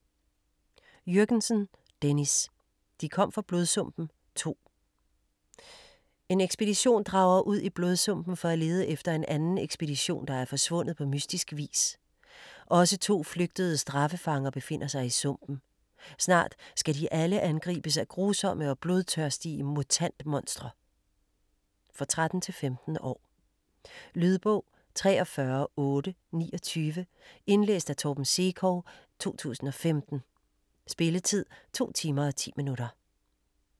Jürgensen, Dennis: De kom fra Blodsumpen 2 En ekspedition drager ud i Blodsumpen for at lede efter en anden ekspedition, der er forsvundet på mystisk vis. Også to flygtede straffefanger befinder sig i sumpen. Snart skal de alle angribes af grusomme og blodtørstige mutant-monstre. For 13-15 år. Lydbog 43829 Indlæst af Torben Sekov, 2015. Spilletid: 2 timer, 10 minutter.